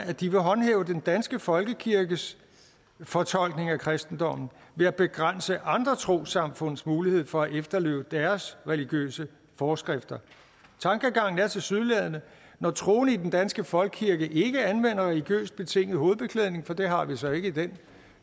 at de vil håndhæve den danske folkekirkes fortolkning af kristendommen ved at begrænse andre trossamfunds mulighed for at efterleve deres religiøse forskrifter tankegangen er tilsyneladende at når troende i den danske folkekirke ikke anvender religiøst betinget hovedbeklædning for det har vi så ikke i den